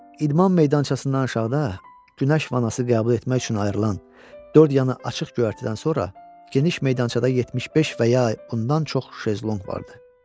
İdman meydançasından aşağıda, günəş vanası qəbul etmək üçün ayrılan, dörd yanı açıq göyərtidən sonra, geniş meydançada 75 və ya bundan çox şezlonq vardı.